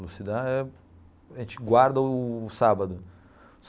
Elucidar, a gente guarda o sábado.